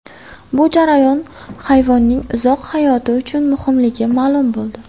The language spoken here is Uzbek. Bu jarayon hayvonning uzoq hayoti uchun muhimligi ma’lum bo‘ldi.